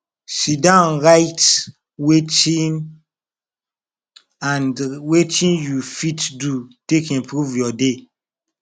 sidon write wetin and wetin yu fit do take improve yur day